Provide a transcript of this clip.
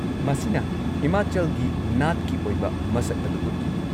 ꯃꯁꯤꯅ ꯍꯤꯃꯥꯆꯜꯒꯤ ꯅꯥꯠꯀꯤ ꯑꯣꯏꯕ ꯃꯁꯛ ꯑꯗꯨ ꯎꯠꯂꯤ꯫